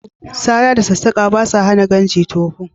Sara da sassaƙa ba sa hana gamji tofo